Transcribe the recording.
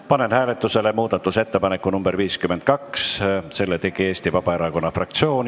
Panen hääletusele muudatusettepaneku nr 52, mille tegi Eesti Vabaerakonna fraktsioon.